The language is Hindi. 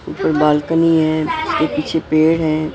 एक बालकनी है उसके पीछे पेड़ हैं।